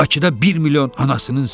Bakıda bir milyon anasının səsi.